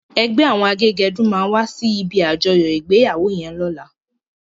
Ègbè áwòn àgégèdú má wàsí ibi ájòyò igbéyáwó yèn lòlá